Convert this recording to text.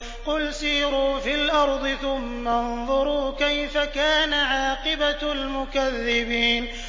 قُلْ سِيرُوا فِي الْأَرْضِ ثُمَّ انظُرُوا كَيْفَ كَانَ عَاقِبَةُ الْمُكَذِّبِينَ